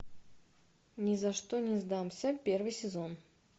ни за что не сдамся первый сезон